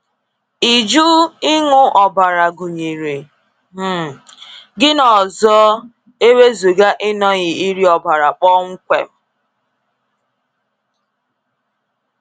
Ịjụ ịṅụ ọbara gụnyere um gịnị ọzọ e wezụga ịnọghị iri ọbara kpọmkwem?